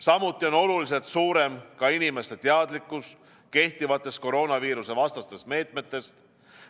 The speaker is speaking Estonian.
Samuti on oluliselt suurem inimeste teadlikkus kehtivatest koroonaviirusevastastest meetmetest.